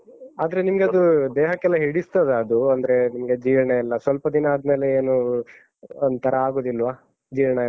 ಆದ್ರೆ ನಿಮ್ಗದು ದೇಹಕ್ಕೆಲ್ಲ ಹಿಡಿಸ್ತದಾ ಅದು? ಅಂದ್ರೆ ನಿಮ್ಗೆ ಜೀರ್ಣಯೆಲ್ಲ ಸ್ವಲ್ಪ ದಿನ ಆದ್ಮೇಲೆ ಏನೂ ಒಂತರಾ ಆಗುದಿಲ್ವ? ಜೀರ್ಣಯೆಲ್ಲ?